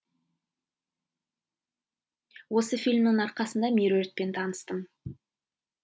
осы фильмнің арқасында меруертпен таныстым